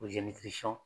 O